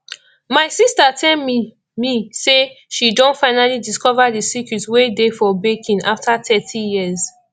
my sister tell me me say she don finally discover the secret wey dey for baking after thirty years